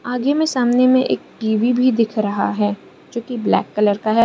आगे में सामने में एक टी_वी भी दिख रहा है जो की ब्लैक कलर का है।